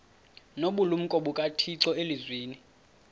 nobulumko bukathixo elizwini